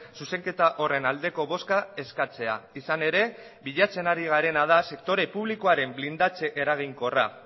zuzenketa horren aldeko bozka eskatzea izan ere bilatzen ari garena da sektore publikoaren blindatze eraginkorra